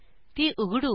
ती उघडू